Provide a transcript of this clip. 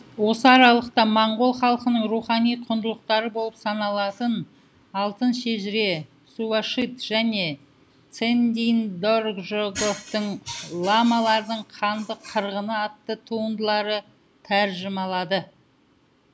осы аралықта моңғол халқының рухани құндылықтары болып саналатын алтын шежіре сувашид және цэндийн доржготовтың ламалардың қанды қырғыны атты туындыларын тәржімалады